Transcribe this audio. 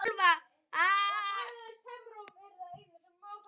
Vel skal ég launa þér.